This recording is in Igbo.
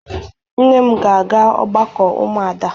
Nne m ga-aga ọgbakọ ụmụada.